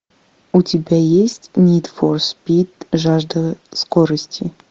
у тебя есть нид фор спид жажда скорости